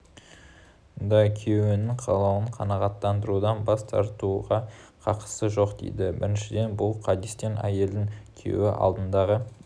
да күйеуінің қалауын қанағаттандырудан бас тартуға қақысы жоқ дейді біріншіден бұл хадистен әйелдің күйеуі алдындағы